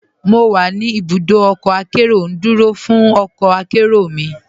Mo wà ní ibùdọ ọkọ akẹró, ndúró fún ọkọ akẹró mi.